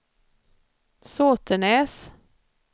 Sotenäs